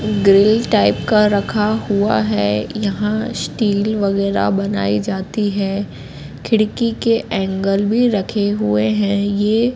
grill type का रखा हुआ है यहां स्टील वगैरा बनाई जाती है खिड़की के एंगल भी रखे हुए हैं ये--